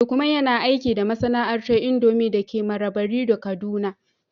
Lukman yana aiki da masana'antar indomie dake Marabarido, kaduna